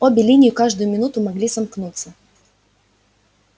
обе линии каждую минуту могли сомкнуться